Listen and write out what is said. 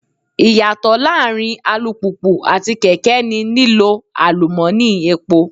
Ìyàtọ̀ láàárín alùpùpù àti kèké ni lílo àlùmọ́ni epo.